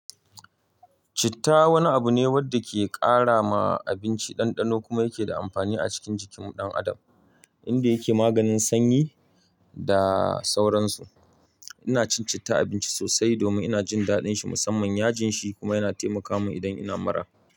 Citta wani abu ne wanda ke karrama abinci ɗanɗano kuma yake da amfani a cikin jikin ɗan adam, inda yake maganin sanyi da sauransu. Ina cin citta a abinci sosai domin ina jin daɗin shi, musamman yajin shi kuma yana taimaka min idan ina mara.